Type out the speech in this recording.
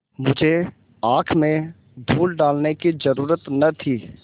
मुझे आँख में धूल डालने की जरुरत न थी